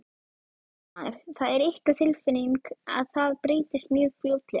Fréttamaður: Það er ykkar tilfinning að það breytist mjög fljótlega?